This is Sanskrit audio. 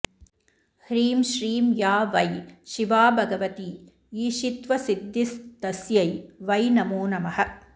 ह्रीं श्रीं या वै शिवा भगवती ईशित्वसिद्धिस्तस्यै वै नमो नमः